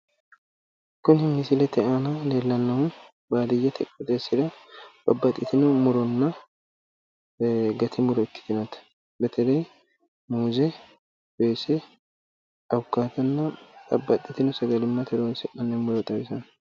Badiyyete qooxeessira gati kaasho muuzenna addi addi dani kaashooti